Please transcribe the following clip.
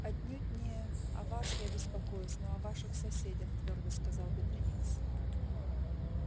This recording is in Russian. отнюдь не о вас я беспокоюсь но о ваших соседях твёрдо сказал бедренец